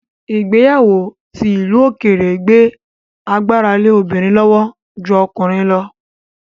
Ìgbéyàwó ti ìlú òkèèrè gbé agbára lé obìnrin lọ́wọ́ ju ọkùnrin lọ